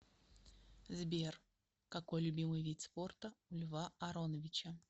сбер какой любимый вид спорта у льва ароновича